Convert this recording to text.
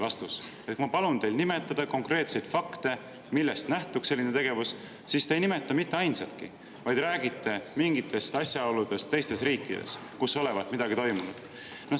Kui ma palun teil nimetada konkreetseid fakte, millest nähtuks selline tegevus, siis te ei nimeta mitte ainsatki, vaid räägite mingitest asjaoludest teistes riikides, kus olevat midagi toimunud.